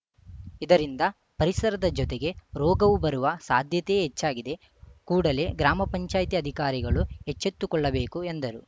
ಇದರಿಂದ ಪರಿಸರದ ಜೊತೆಗೆ ರೋಗವು ಬರುವ ಸಾಧ್ಯತೆಯೇ ಹೆಚ್ಚಾಗಿದೆ ಕೂಡಲೇ ಗ್ರಾಮ ಪಂಚಾಯತಿ ಅಧಿಕಾರಿಗಳು ಎಚ್ಚೆತ್ತುಕೊಳ್ಳಬೇಕು ಎಂದರು